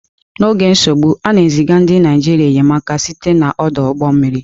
N'oge nsogbu, a na-eziga ndị Naịjirịa enyemaka site n'ọdụ ụgbọ mmiri.